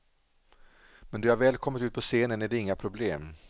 Men då jag väl kommit ut på scenen är det inga problem.